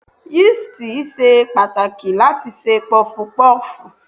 Yíìstì ṣe pàtàkì láti ṣe Pọfupọ́ọ̀fù.